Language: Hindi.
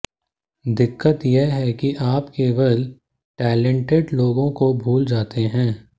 दिक्कत ये है कि आप केवल टैलेंटेड लोगों को भूल जाते हैं